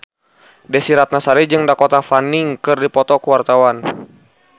Desy Ratnasari jeung Dakota Fanning keur dipoto ku wartawan